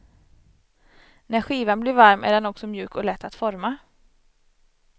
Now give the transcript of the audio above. När skivan blir varm är den också mjuk och lätt att forma.